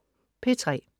P3: